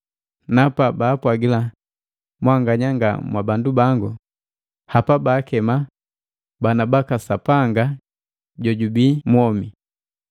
Na pabaapwagila ‘Mwanganya nga mwabandu bango’ hapa baakema, ‘Bana baka Sapanga jojubii mwomi.’ ”